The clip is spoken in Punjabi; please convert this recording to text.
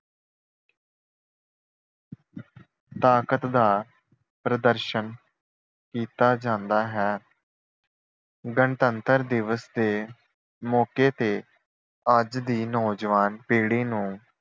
ਤਾਕਤ ਦਾ ਪ੍ਰਦਰਸ਼ਨ ਕੀਤਾ ਜਾਂਦਾ ਹੈ। ਗਣਤੰਤਰ ਦਿਵਸ ਤੇ ਮੌਕੇ ਤੇ ਅੱਜ ਦੀ ਨੌਜਵਾਨ ਪੀੜੀ ਨੂੰ